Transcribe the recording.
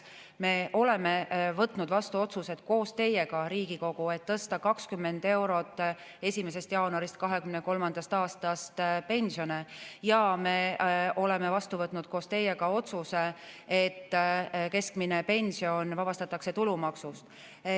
Me oleme võtnud vastu otsused koos teiega, Riigikogu, et tõsta 20 eurot 1. jaanuarist 2023. aastast pensione, ja me oleme vastu võtnud koos teiega otsuse, et keskmine pension vabastatakse tulumaksust.